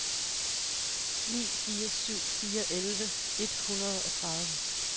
ni fire syv fire elleve et hundrede og tredive